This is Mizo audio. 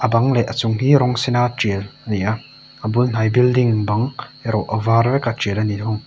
bang leh a chung hi rawng sen a tial a ni a a bul hnai building bang erawh a var vek a tial a ni thung.